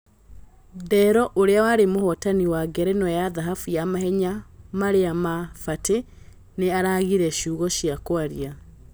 Ndero ũria warĩ mũhotani wa ngerenwa ya thahabu ya Mahenya marĩ na Batĩ nĩ aragire ciugo cia kwaria.